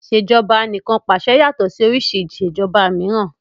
Ìṣèjoba Anìkànpàṣẹ yàtọ̀ sí oríṣi ìṣèjoba mìíràn